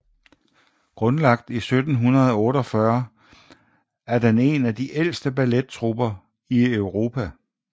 Grundlagt i 1748 er den en af de ældste ballettrupper i Europa